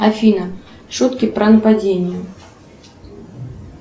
афина шутки про нападение